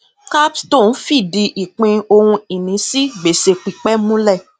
capstone fìdí ìpín ohunìní sí gbèsè pípẹ múlẹ